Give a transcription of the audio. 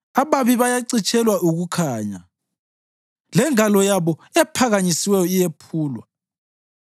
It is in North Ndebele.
Ababi bayacitshelwa ukukhanya, lengalo yabo ephakanyisiweyo iyephulwa.